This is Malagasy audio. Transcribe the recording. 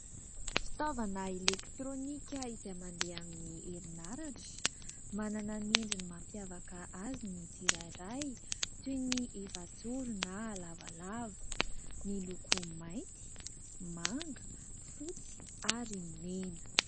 Fitaovana elektrônika izay mandeha amin'ny herinaratra. Manana ny endriny mampiavaka azy ny tsirairay toy ny efajoro na lavalava miloko : mainty, manga, fotsy ary mena.